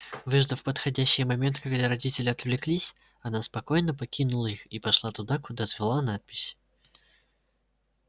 выждав подходящий момент когда родители отвлеклись она спокойно покинула их и пошла туда куда звала надпись